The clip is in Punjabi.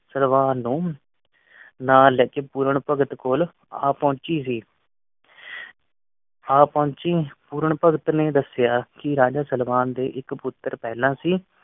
ਸਲਵਾਨ ਨੂੰ ਨਾਲ ਲੈ ਕ ਪੂਰਨ ਭਗਤ ਕੋਲ ਆ ਪੋਹੰਚੀ ਸੀ ਆ ਪੋਹੰਚੀ ਪੂਰਨ ਭਗਤ ਨੇ ਦੱਸਿਆ ਕਿ ਰਾਜੇ ਸਲਵਾਨ ਦੇ ਇੱਕ ਪੁੱਤਰ ਪਹਿਲਾ ਸੀ।